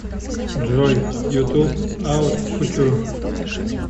джой ютуб аут кутюр